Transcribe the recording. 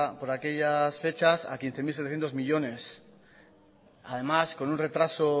por aquellas fechas a quince mil setecientos millónes además con un retraso